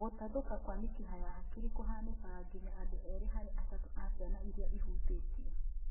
Gũtathũka kwa mĩkiha ya hakiri kũhanĩkaga nginya andũ erĩ harĩ atatũ a ciana irĩa ihutĩtio